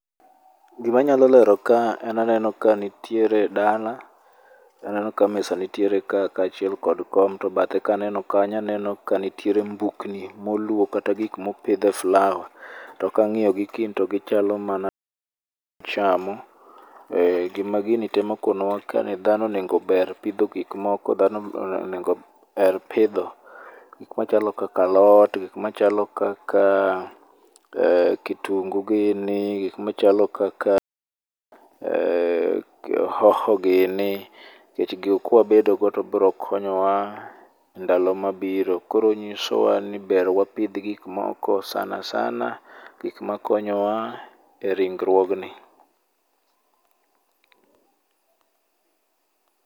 Gimanyalo lero ka en aneno ka nitiere dala, aneno ka mesa nitiere ka kaachiel kod kom to bathe ka aneno kanyo aneno ka nitiere mbukni moluow kata gik mopidh e slab. To kang'iyo kendo to gichalo mana gima gini timo dhano onego ober pidho gik moko. Dhano onego her pidho gik machalo kaka alot, gik machalo kaka kitungugini, gik machalo kaka hoho gini nikech gigo kwa bedo go to biro konyowa ndalo mabiro, Koro nyisowa ber wapidh gikmoko sanasana gik makonyowa,e ringruogni.